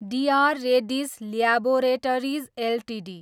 DR Reddy's laboratories Ltd